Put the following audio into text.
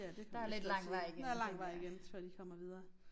Ja det kan man vist godt sige der lang vej igen før de kommer videre